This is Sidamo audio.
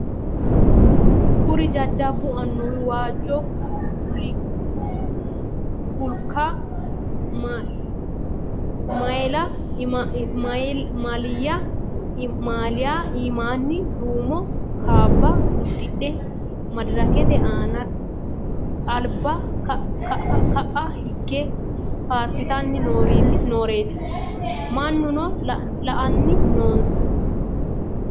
Kuri jajjabbu annuwi waajjo culikka maaliyya imaanni duummo kaabba udidhe maddirrakkete aanna alibba ka'a higge faarisitanni nooretti mannuno la'anni noonissa